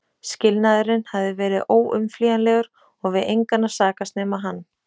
Skilnaðurinn hafði verið óumflýjanlegur og við engan að sakast nema hann.